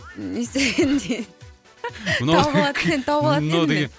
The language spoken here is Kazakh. не істер дегенде тауып алатын тауып алатын едім мен